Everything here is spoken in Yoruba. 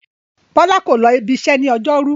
Bọ́lá kò lọ ibiṣẹ́ ní ọjọ́rú.